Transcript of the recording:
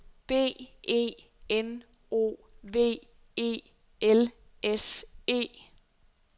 B E N O V E L S E